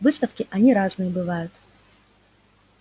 выставки они разные бывают